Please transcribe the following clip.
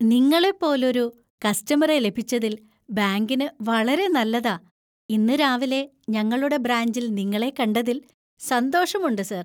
നിങ്ങളെപ്പോലൊരു ഒരു കസ്റ്റമറെ ലഭിച്ചതിൽ ബാങ്കിന് വളരെ നല്ലതാ, ഇന്ന് രാവിലെ ഞങ്ങളുടെ ബ്രാഞ്ചിൽ നിങ്ങളെ കണ്ടതിൽ സന്തോഷമുണ്ട്, സർ!